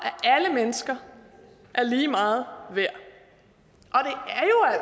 at alle mennesker er lige meget værd